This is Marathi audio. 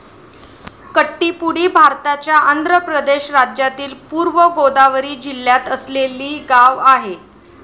कट्टीपुडी भारताच्या आंध्र प्रदेश राज्यातील पूर्व गोदावरी जिल्ह्यात असलेली गाव आहे.